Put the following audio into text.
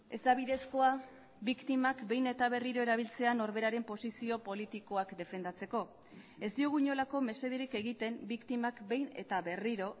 ez da bidezkoa biktimak behin eta berriro erabiltzea norberaren posizio politikoak defendatzeko ez diogu inolako mesederik egiten biktimak behin eta berriro